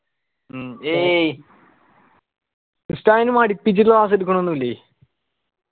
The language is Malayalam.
മ്മ് ഉസ്താദിന് മടിപ്പിച്ച് class എടക്കളൊന്നില്ലേ